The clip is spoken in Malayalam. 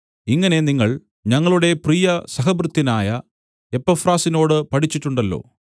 ഇങ്ങനെ നിങ്ങൾ ഞങ്ങളുടെ പ്രിയ സഹഭൃത്യനായ എപ്പഫ്രാസിനോട് പഠിച്ചിട്ടുണ്ടല്ലോ